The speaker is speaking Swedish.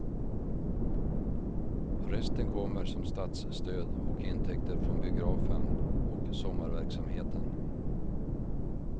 Resten kommer som statsstöd och intäkter från biografen och sommarverksamheten.